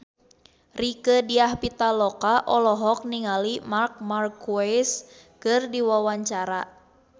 Rieke Diah Pitaloka olohok ningali Marc Marquez keur diwawancara